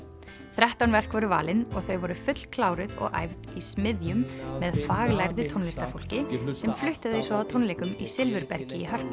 þrettán verk voru valin og þau voru fullkláruð og æfð í smiðjum með faglærðu tónlistarfólki sem flutti þau svo á tónleikum í Silfurbergi í Hörpu